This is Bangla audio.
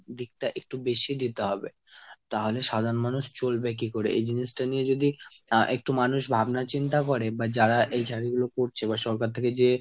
দিকটা একটু বেশি দিতে হবে। তাহলে সাধারণ মানুষ চলবে কি করে? এই জিনিসটা নিয়ে যদি আহ একটু মানুষ ভাবনা চিন্তা করে বা যারা এই জারি গুলো করছে বা সরকার থেকে যে